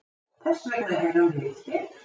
Þessvegna eru við hér.